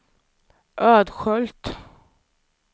Ödskölt